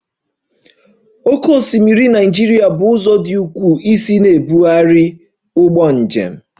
Oké osimiri Naịjirịa bụ ụzọ dị ukwuu isi na-ebugharị ụgbọ njem